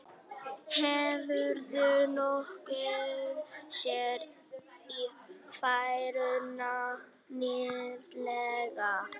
Hefurðu nokkuð séð Ífæruna nýlega?